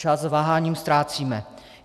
Čas váháním ztrácíme.